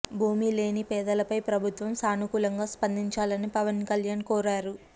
భూమి లేని పేదలపై ప్రభుత్వం సానుకూలంగా స్పందించాలని పవన్ కల్యాణ్ కోరారు